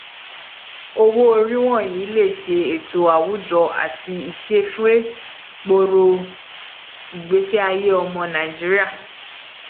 owóorí wọnyi le ṣe ètò àwujọ àti iṣẹ fẹẹ gbòro igbesiaye ọmọ nàìjíríà